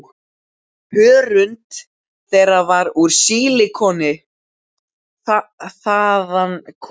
Hörund þeirra var úr sílikoni- þaðan kom lyktin.